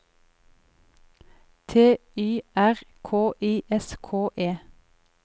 T Y R K I S K E